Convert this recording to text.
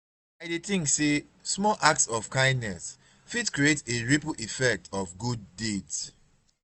i dey think say small acts of kindness fit create a ripple effect of good deeds.